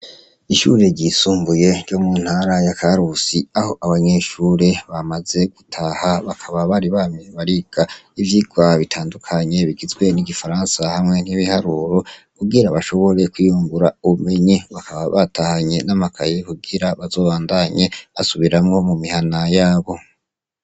Ishure ryisumbuye ryo mu ntara ya karusi aho abanyeshure bamaze gutaha bakaba bari bamibariga ivyoirwah bitandukanye bigizwe n'igifaransa hamwe nk'ibiharuro ugira bashoboree kwiyungura ubumenye bakaba batahanye n'amakazi kugira bazobandanye asubiramwo mu mihana yabo h.